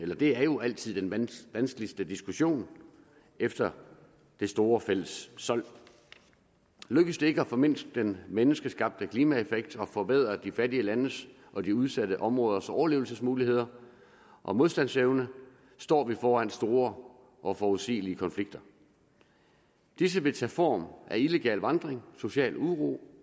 og det er jo altid den vanskeligste diskussion efter det store fælles sold lykkes det ikke at formindske den menneskeskabte klimaeffekt og forbedre de fattige lande og de udsatte områders overlevelsesmuligheder og modstandsevne står vi foran store og forudsigelige konflikter disse vil tage form af illegal vandring social uro